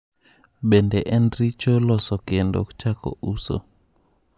Bende en richo loso kendo chako uso.